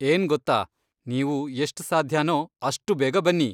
ಏನ್ ಗೊತ್ತಾ, ನೀವು ಎಷ್ಟ್ ಸಾಧ್ಯನೋ ಅಷ್ಟು ಬೇಗ ಬನ್ನಿ.